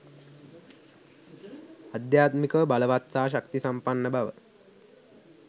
අධ්‍යාත්මිකව බලවත් සහ ශක්තිසම්පන්න බව